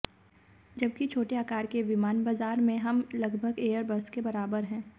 जबकि छोटे आकार के विमान बाजार में हम लगभग एयरबस के बराबर हैं